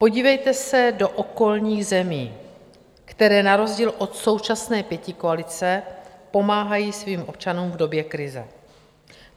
Podívejte se do okolních zemí, které na rozdíl od současné pětikoalice pomáhají svým občanům v době krize.